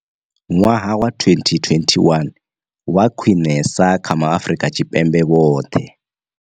Ṅwaha wa 2021 wa khwiṋesa kha ma Afrika Tshipembe vhoṱhe.